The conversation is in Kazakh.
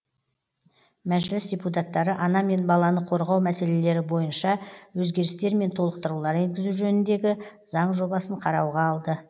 мәжіліс депутаттары ана мен баланы қорғау мәселелері бойынша өзгерістер мен толықтырулар енгізу жөніндегі заң жобасын қарауға алды